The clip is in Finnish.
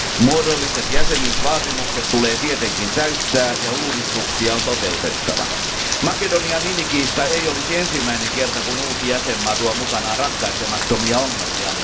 Muodolliset jäsenyysvaatimukset tulee tietenkin täyttää, ja uudistuksia on toteutettava. Makedonian nimikiista ei olisi ensimmäinen kerta, kun uusi jäsenvaltio tuo mukanaan ratkaisemattomia ongelmia.